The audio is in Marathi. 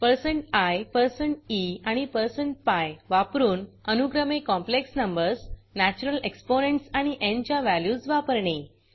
160i160e आणि160pi वापरून अनुक्रमे कॉम्प्लेक्स numbersकॉंप्लेक्स नंबर्स नॅच्युरल exponentsनॅचुरल एक्सपोनेंट्स आणि π च्या व्हॅल्यूज वापरणे